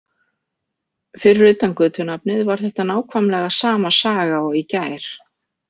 Fyrir utan götunafnið var þetta nákvæmlega sama saga og í gær.